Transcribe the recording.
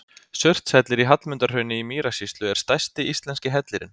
Surtshellir í Hallmundarhrauni í Mýrasýslu er stærsti íslenski hellirinn.